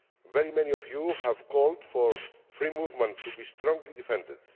Very many of you have called for free movement to be strongly defended.